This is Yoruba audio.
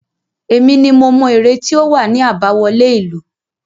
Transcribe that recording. Èmi ni mo mọ ère tí ó wà ní àbáwọlé ìlú.